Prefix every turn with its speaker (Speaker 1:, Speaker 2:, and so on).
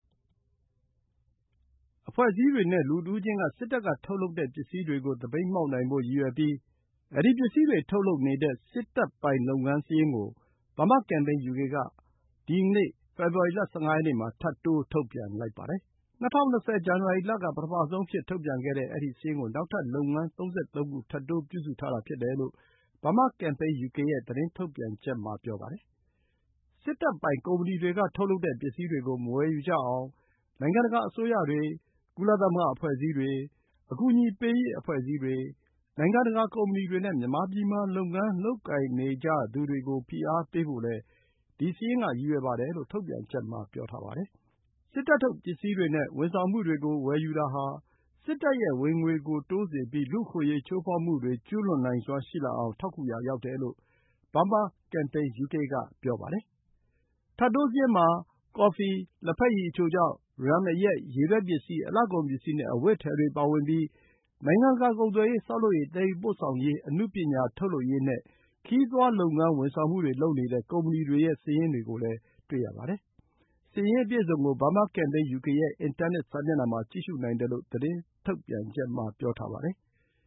Speaker 1: အဖွဲ့အစည်းတွေနဲ့ လူတဦးချင်းက စစ်တပ်ကထုတ်လုပ်တဲ့ပစ္စည်းတွေကို သပိတ်မှောက်နိုင်ဖို့ရည်ရွယ်ပြီး အဲဒီပစ္စည်းတွေထုတ်လုပ်နေတဲ့ စစ်တပ်ပိုင်လုပ်ငန်းစာရင်း Burma Campaign UK က ဒီ ကနေ့ ဖေဖော်ဝါရီ ၁၅ ရက်နေ့ မှာ ထပ်တိုး ထုတ်ပြန်လိုက်ပါတယ်။ ၂၀၂၀ ဇန်နဝါရီလက ပထမဆုံးအဖြစ်ထုတ်ပြန်ခဲ့တဲ့ ဒီစာရင်းကို နောက်ထပ် လုပ်ငန်း ၃၃ ခု ထပ်တိုး ပြုစုထားတာဖြစ်တယ်လို့ Burma Campaign UK ရဲ့ သတင်း ထုတ်ပြန်ချက်က ဆိုပါတယ်။ စစ်တပ်ပိုင်ကုမ္ပဏီတွေက ထုတ်လုပ်တဲ့ စ္စည်းတွေကို မဝယ်ယူကြအောင် နိုင်ငံတကာ အစိုးရတွေ၊ ကုလသမဂ္ဂအဖွဲ့အစည်းတွေ၊ အကူအညီပေးရေးအဖွဲ့အစည်းတွေ၊ နိုင်ငံတကာ ကုမ္ပဏီတွေနဲ့ မြန်မာပြည်မှာ လုပ်ငန်းလုပ်ကိုင်နေကြသူတွေကို ဖိအားပေးဖို့လည်း ဒီ စာရင်းက ရည်ရွယ်ပါတယ်လို့ ထုတ်ပြန်ချက်မှာ ပြောထားပါတယ်။ စစ်တပ်ထုတ်ပစ္စည်းတွေနဲ့ ဝန်ဆောင်မှုတွေကို ဝယ်ယူတာဟာ စစ်တပ်ရဲ့ဝင်ငွေကို တိုးစေပြီး လူ့အခွင့်အရေး ချိုးဖောက်မှုတွေ ကျူးလွန်နိုင်စွမ်းရှိလာအောင် ထောက်ကူရာ ရောက်တယ်လို့ Burma Campaign UK က ဆိုပါတယ်။ ထပ်တိုးစာရင်းမှာ ကော်ဖီ၊ လက်ဖက်ရည် အချိုခြောက်၊ ရမ် အရက်၊ ရေထွက်ပစ္စည်း၊ အလှကုန်ပစ္စည်းနဲ့ အဝတ်အထည်တွေပါဝင်ပြီး နိုင်ငံတကာကုန်သွယ်ရေး၊ ဆောက်လုပ်ရေး၊ သယ်ယူပို့ဆောင်ရေး၊ အနုပညာထုတ်လုပ်ရေးနဲ့ ခရီးသွားလုပ်ငန်းဝန်ဆောင်မှု လုပ်နေတဲ့ ကုမ္ပဏီတွေရဲ့စာရင်းကို တွေ့ရပါတယ်။ စာရင်း အပြည့်အစုံကို Burma Campaign UK ရဲ့ အင်တာနက် စာမျက်နှာမှာ ကြည့်ရှုနိုင်တယ်လို့ သတင်းထုတ်ပြန်ချက် မှာ ပြောထားပါတယ်။